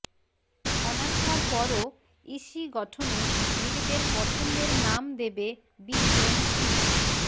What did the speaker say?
অনাস্থার পরও ইসি গঠনে নিজেদের পছন্দের নাম দেবে বিএনপি